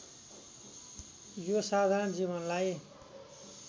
यो साधारण जीवनलाइ